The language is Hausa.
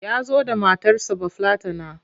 Ya zo da matarsa Bafillatana.